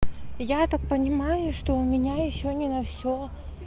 я так понимаю что у меня ещё не на всё